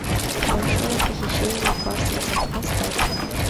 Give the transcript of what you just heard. большое похищение парсонсов поставь